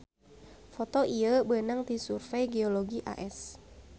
Foto ieu beunang ti Survey Geologi AS